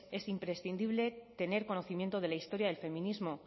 es imprescindible tener conocimiento de la historia del feminismo